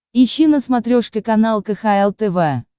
ищи на смотрешке канал кхл тв